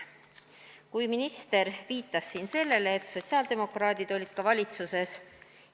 Kui minister viitas siin sellele, et sotsiaaldemokraadid olid ka valitsuses.